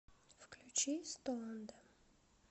включи стоунда